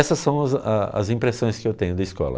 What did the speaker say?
Essas são as a as impressões que eu tenho da escola.